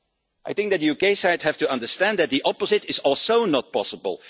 I think that the UK side has to understand that the opposite is also not possible.